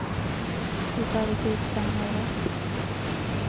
De tar ikke ut fem øre.